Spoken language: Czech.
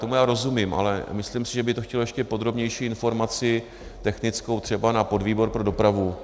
Tomu já rozumím, ale myslím si, že by to chtělo ještě podrobnější informaci technickou třeba na podvýbor pro dopravu.